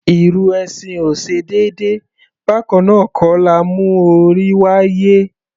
Ìrù ẹṣin ò ṣe déédé, bákannáà kọ́ la mú orí wáyé.